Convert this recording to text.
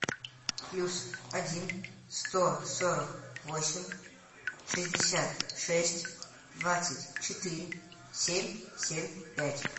плюс один сто сорок восемь шестьдесят шесть двадцать четыре семь семь пять